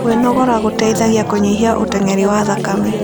Kwĩnogora gũteĩthagĩa kũnyĩhĩa ũtengerĩ wa thakame